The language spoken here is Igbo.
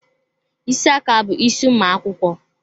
Ísì aka bụ isi ụmụ akwụkwọ.